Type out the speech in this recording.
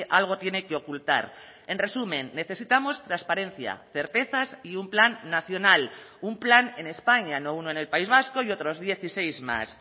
algo tiene que ocultar en resumen necesitamos transparencia certezas y un plan nacional un plan en españa no uno en el país vasco y otros dieciséis más